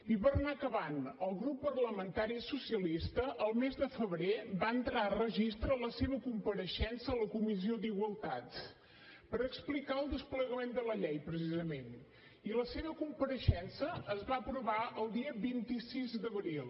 i per anar acabant el grup parlamentari socialista el mes de febrer va entrar a registre la seva compareixença a la comissió d’igualtat per explicar el desplegament de la llei precisament i la seva compareixença es va aprovar el dia vint sis d’abril